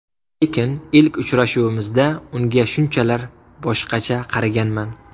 Lekin ilk uchrashuvimizda unga shunchalar boshqacha qaraganman.